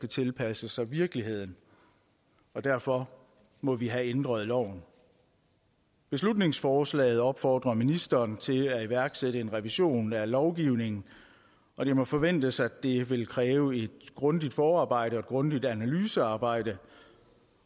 tilpasse sig virkeligheden derfor må vi have ændret loven beslutningsforslaget opfordrer ministeren til at iværksætte en revision af lovgivningen og det må forventes at det vil kræve et grundigt forarbejde og et grundigt analysearbejde